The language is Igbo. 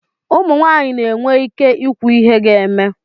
ụmụ nwanyị na-enwe ike ikwu ihe ga-eme